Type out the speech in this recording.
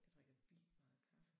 Jeg drikker vildt meget kaffe